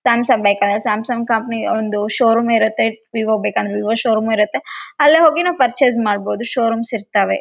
Samsung ಬೇಕಂದ್ರೆ Samsung company ಒಂದು show room ಇರುತ್ತೆ ವಿವೋ ಬೇಕಂದ್ರೆ ವಿವೊ ಶೋ ರೂಂ ಇರುತ್ತೆ ಅಲ್ಲೋಗಿ ನಾವು ಪರ್ಚೇಸ್‌ ಮಾಡ್ಬಹುದು ಶೋ ರೂಮ್ಸ್‌ ಇರ್ತವೆ.